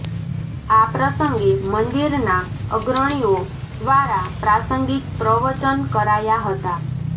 આ પ્રસંગે મંદિરના અગ્રણીઅો દ્વારા પ્રાસંગીક પ્રવચન કરાયા હતા